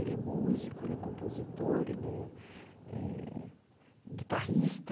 Ele é músico, ele é compositor, ele é é guitarrista.